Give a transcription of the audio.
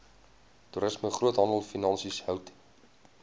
toerisme groothandelfinansies hout